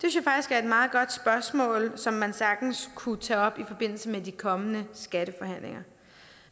er et meget godt spørgsmål som man sagtens kunne tage op i forbindelse med de kommende skatteforhandlinger